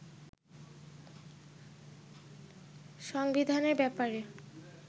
সংবিধানের ব্যাপারে